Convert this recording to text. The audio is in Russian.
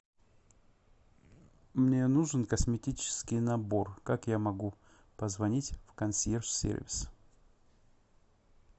мне нужен косметический набор как я могу позвонить в консьерж сервис